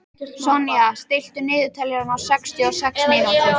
Sonja, stilltu niðurteljara á sextíu og sex mínútur.